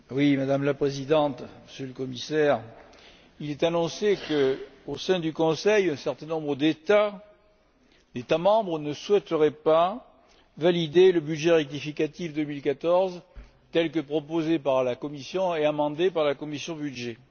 Madame la Présidente, Monsieur le Commissaire, il est annoncé qu'au sein du Conseil, un certain nombre d'États membres ne souhaiteraient pas valider le budget rectificatif 2014 tel que proposé par la Commission et amendé par la commission des budgets.